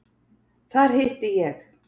Þar hitti ég